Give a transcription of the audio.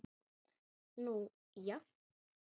Nú já.